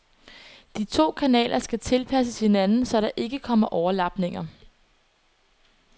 De to kanaler skal tilpasses hinanden, så der ikke kommer overlapninger.